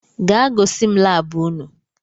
gaa gois m lab unu!